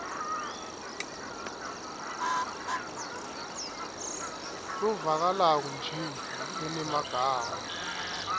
lovakalako nje lonemagama